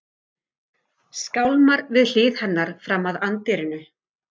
Skálmar við hlið hennar fram að anddyrinu.